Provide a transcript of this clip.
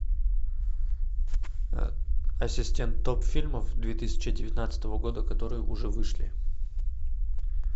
ассистент топ фильмов две тысячи девятнадцатого года которые уже вышли